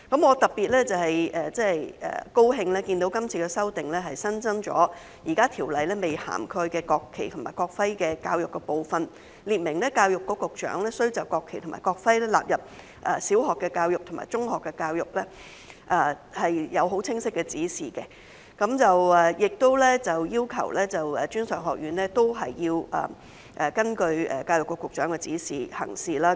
我特別高興看到今次修訂新增了現時條例未涵蓋的國旗及國徽教育的部分，列明教育局局長須就將國旗及國徽納入小學教育及中學教育發出清晰指示，亦要求專上院校須參照教育局局長的指示行事。